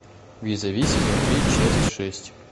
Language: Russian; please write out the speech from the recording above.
визави сезон три часть шесть